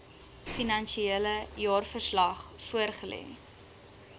finansiële jaarverslag voorlê